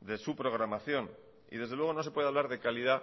de su programación y desde luego no se puede hablar de calidad